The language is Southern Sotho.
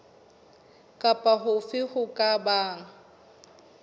kapa hofe ho ka bang